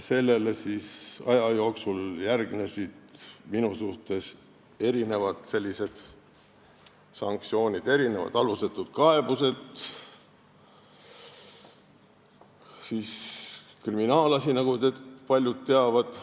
Sellele järgnesid aja jooksul mitmed sanktsioonid minu suhtes, mitmed alusetud kaebused ja siis kriminaalasi, nagu paljud teavad.